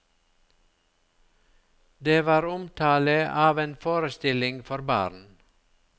Det var omtale av en forestilling for barn.